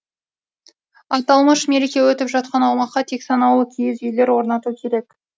аталмыш мереке өтіп жатқан аумаққа тек санаулы киіз үйлер орнату керек